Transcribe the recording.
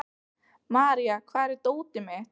Marja, hvar er dótið mitt?